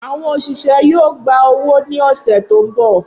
Awọn oṣiṣẹ yoo gba owo ni ọsẹ to nbọ.